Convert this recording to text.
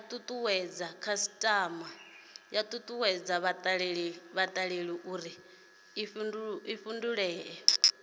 tutuwedze khasitama uri i fhindule